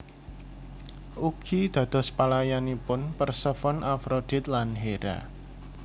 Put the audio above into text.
Ugi dados pelayanipun Persefone Afrodit lan Hera